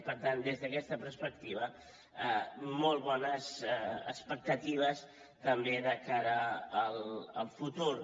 per tant des d’aquesta perspectiva molt bones expectatives també de cara al futur